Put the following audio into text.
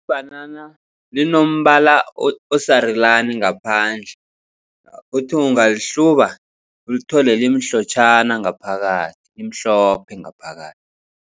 Ibhanana linombala osarulani ngaphandle. Uthi ungalihluba, ulithole limhlotjhana ngaphakathi limhlophe ngaphakathi.